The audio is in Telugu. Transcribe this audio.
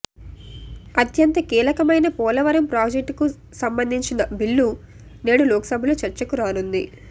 అత్యంత కీలకమైన పోలవరం ప్రాజెక్టుకు సంబంధించిన బిల్లు నేడు లోకసభలో చర్చకు రానుంది